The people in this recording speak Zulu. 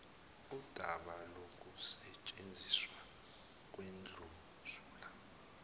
undaba lokusetshenziswa kwendlunzula